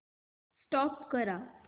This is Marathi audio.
स्टॉप करा